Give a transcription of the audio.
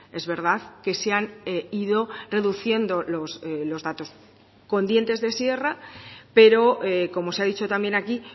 es verdad que se han ido reduciendo los datos con dientes de sierra pero como se ha dicho también aquí